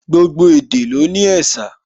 Gbogbo èdè ló ní ẹ̀sà